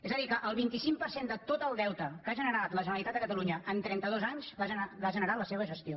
és a dir que el vint cinc per cent de tot el deute que ha generat la generalitat de catalunya en trenta dos anys l’ha generat la seva gestió